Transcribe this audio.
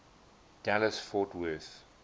dallas fort worth